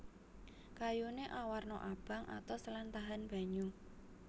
Kayuné awarna abang atos lan tahan banyu